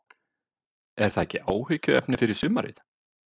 Er það ekki áhyggjuefni fyrir sumarið?